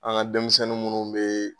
An ka denmisɛnnin minnu bɛ yen